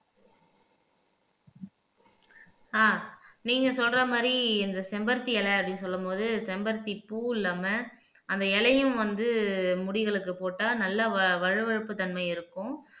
ஆஹ் நீங்க சொல்ற மாதிரி இந்த செம்பருத்தி இலை அப்படின்னு சொல்லும் போது செம்பருத்தி பூ இல்லாம அந்த இலையும் வந்து முடிகளுக்கு போட்டா நல்லா வ வழுவழுப்பு தன்மை இருக்கும்